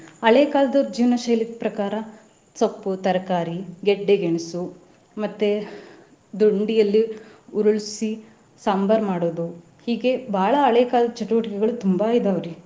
ಹಳೆ ಕಾಲದವ್ರ ಜೀವ್ನ ಶೈಲಿ ಪ್ರಕಾರಾ ಸೊಪ್ಪು, ತರಕಾರಿ, ಗೆಡ್ಡೆ ಗೆಣಸು. ಮತ್ತೆ ದೊಂಡಿಯಲ್ಲಿ ಉರ್ಲ್ಸಿ ಸಾಂಬಾರ್ ಮಾಡೋದು ಹೀಗೆ ಬಾಳಾ ಹಳೆ ಕಾಲದ್ ಚಟುವಟಿಕೆಗಳು ತುಂಬಾ ಇದಾವ್ರಿ.